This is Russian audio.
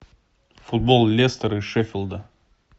футбол лестера и шеффилда